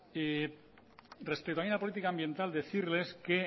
respecto también a la política ambiental decirles que